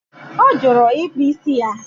O juru ịkpụ ísì ya